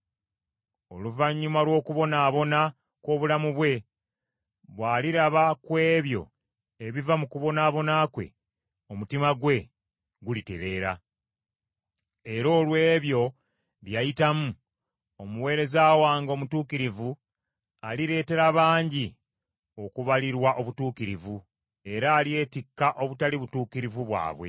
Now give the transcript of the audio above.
Oluvannyuma lw’okubonaabona kw’obulamu bwe, bw’aliraba ku ebyo ebiva mu kubonaabona kwe, omutima gwe gulitereera. Era olw’ebyo bye yayitamu omuweereza wange omutuukirivu alireetera bangi okubalirwa obutuukirivu; era alyetikka obutali butuukirivu bwabwe.